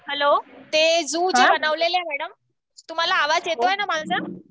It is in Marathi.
हॅलो, ते झू जे बनवलेले आहेत न मॅडम, तुम्हाला आवाज येतोय ना माझा